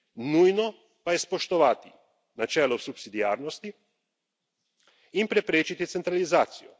Nujno pa je spoštovati načelo subsidiarnosti in preprečiti centralizacijo.